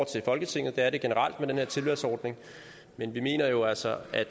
til folketinget det er det generelt med den her tilvalgsordning men vi mener jo altså at